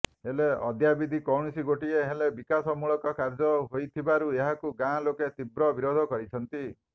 ହେଲେ ଅଦ୍ୟାବଧି କୌଣସି ଗୋଟିଏ ହେଲେ ବିକାଶମୂଳକ କାର୍ଯ୍ୟ ହୋଇଥିବାରୁ ଏହାକୁ ଗାଁ ଲୋକେ ତିବ୍ର ବିରୋଧ କରିଛନ୍ତି